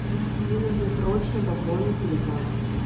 мне нужно срочно пополнить телефон